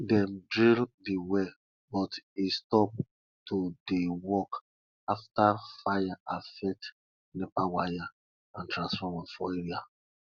dem drill the well but e stop to dey work after fire affect nepa wire and transformer for area